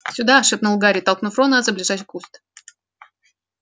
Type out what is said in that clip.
сюда шепнул гарри толкнув рона за ближайший куст